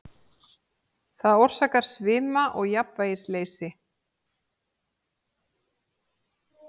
Það orsakar svima og jafnvægisleysi.